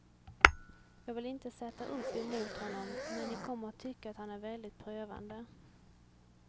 Jag vill inte sätta upp er mot honom, men ni kommer att tycka att han är väldigt prövande.